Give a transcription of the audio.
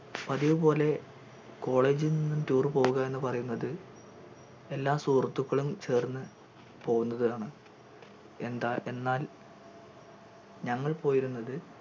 പതിവ് പോലെ college നിന്നും tour പോവുക എന്ന് പറയുന്നത് എല്ലാ സുഹൃത്തുക്കളും ചേർന്ന് പോവുന്നതാണ് എന്താ എന്നാൽ ഞങ്ങൾ പോയിരുന്നത്